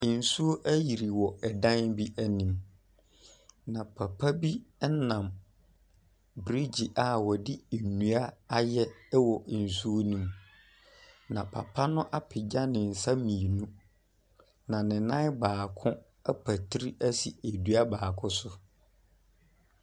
Nsuo ɛyiri wɔ ɛdan bi ɛnim na papa bi ɛnam brigyi a wɔde ndua ayɛ ɛwɔ nsuo no mu na papa no ɛpagya nensa mienu na nenan baako apetri esi edua baako so.